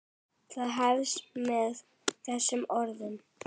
Það hefst með þessum orðum